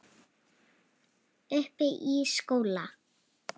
Uppi í skóla?